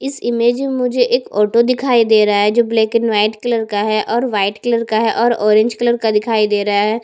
इस इमेज में मुझे एक ऑटो दिखाई दे रहा है जो ब्लैक एंड व्हाईट कलर का है और व्हाईट कलर का है और ऑरेंज कलर का दिखाई दे रहा हैं।